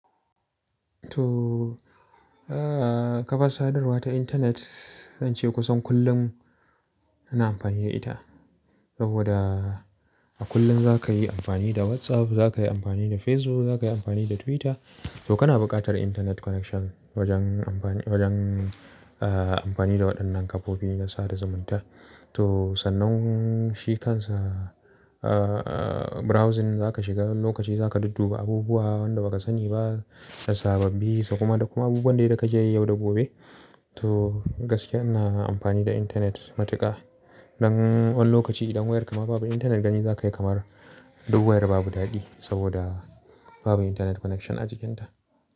To, ah, kafar sadarwa ta internet, zan ce kusan kullum ina amfani da ita. Saboda a kullum za ka yi amfani da WhatsApp, za ka yi amfani da Facebook, za ka yi amfani da Twitter. To kana buƙatar internet connection wajen amfani, wajen, ah, amfani da waɗannan kafofi na sada zumunta. To, sannan shi kansa, ah, browsing za ka shiga lokaci za ka dudduba abubuwan da ba ka sani ba da sababbi, dakuma da kuma abubuwan da ka je yi yau da gobe. To, gaskiya ina amfani da internet matuƙa. Dan wani lokaci idan wayarka ma babu internet gani zaka yi kamar duk wayar babu daɗi sabida babu internet connection a cikinta.